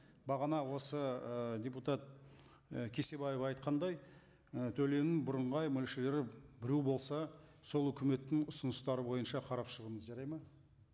бағана осы ы депутат і кесебаева айтқандай і төлемнің бірыңғай мөлшері біреу болса сол өкіметтің ұсыныстары бойынша қарап шығыңыз жарайды ма